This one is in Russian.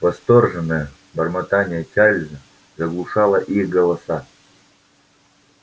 восторженное бормотание чарлза заглушало их голоса